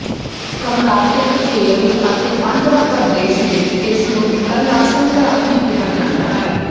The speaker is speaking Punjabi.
ਕਰਨਾਟਕ ਕੇਰਲ ਅਤੇ ਆਂਧਰਾ ਪ੍ਰਦੇਸ਼ ਵਿੱਚ ਇਸ ਨੂੰ ਇਕੱਲਾ ਸੰਕਰਾਂਤੀ ਕਿਹਾ ਜਾਂਦਾ ਹੈ